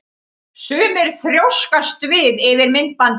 Sumir þrjóskast við yfir myndbandinu.